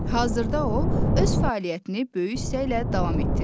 Hazırda o öz fəaliyyətini böyük istəklə davam etdirir.